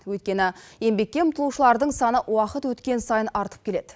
өйткені еңбекке ұмтылушылардың саны уақыт өткен сайын артып келеді